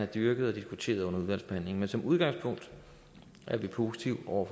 dyrket og diskuteret under udvalgsbehandlingen men som udgangspunkt er vi positive over